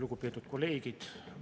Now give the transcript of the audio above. Lugupeetud kolleegid!